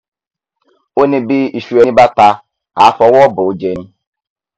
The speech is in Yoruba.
ó ní bí iṣu ẹni bá ta àá fọwọ bòójẹ ni